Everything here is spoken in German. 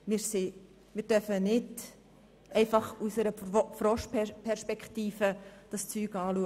Wir dürfen die Sache nicht einfach aus unserer Froschperspektive betrachten.